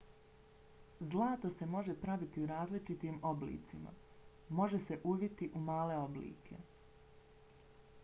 zlato se može praviti u različitim oblicima. može se uviti u male oblike